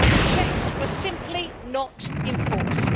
Checks were simply not enforced.